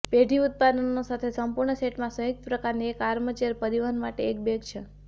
પેઢી ઉત્પાદનો સાથે સંપૂર્ણ સેટમાં સંયુક્ત પ્રકારની એક આર્મચેર પરિવહન માટે એક બેગ છે